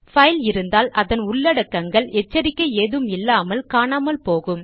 file இருந்தால் அதன் உள்ளடக்கங்கள் எச்சரிக்கை ஏதும் இல்லாமல் காணாமல் போகும்